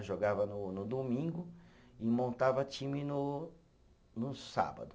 Eu jogava no no domingo e montava time no no sábado.